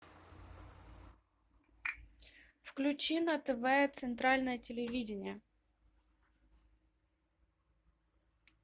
включи на тв центральное телевидение